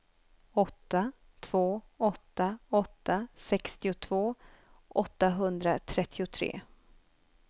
åtta två åtta åtta sextiotvå åttahundratrettiotre